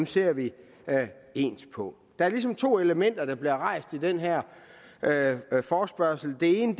ser vi ens på der er ligesom to elementer der bliver rejst i den her forespørgsel det ene